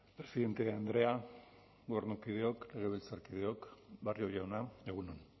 presidente andrea gobernukideok legebiltzarkideok barrio jauna egun on